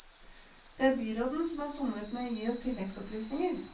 Det er byråden som har somlet med å gi oss tilleggsopplysninger.